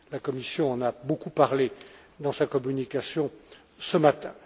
La Commission en a beaucoup parlé dans sa communication ce matin.